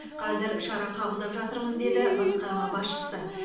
қазір шара қабылдап жатырмыз деді басқарма басшысы